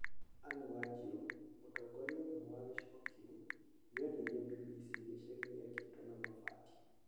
Anne Wanjiru, mũtongoria ũmwe wa gĩcigo kĩu, nĩ onirie BBC gĩcagi gĩakĩtwo na mabati.